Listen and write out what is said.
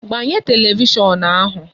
Gbanye telivishọn ahu!